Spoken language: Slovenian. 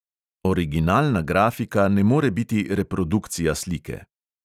Originalna grafika ne more biti reprodukcija slike.